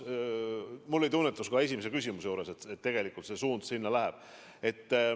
Mul oli tunnetus ka esimese küsimuse juures, et tegelikult see suund sinna läheb.